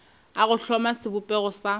a go hloma sebopego sa